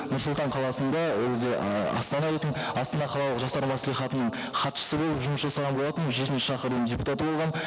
нұр сұлтан қаласында ол кезде ііі астана дейтін астана қалалық жастар мәслихатының хатшысы болып жұмыс жасаған болатынмын жетінші шақырылымның депутаты болғанмын